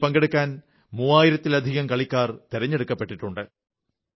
ഇതിൽ പങ്കെടുക്കാൻ മൂവായിരത്തിലധികം കളിക്കാർ തിരഞ്ഞെടുക്കപ്പെട്ടിട്ടുണ്ട്